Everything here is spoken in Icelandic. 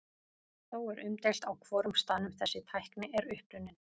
Þó er umdeilt á hvorum staðnum þessi tækni er upprunnin.